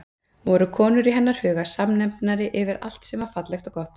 Voru konur í hennar huga samnefnari yfir allt sem var fallegt og gott?